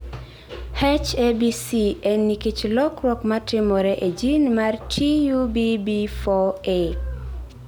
H ABC en nikech lokruok ma timore e jin mar TUBB4A.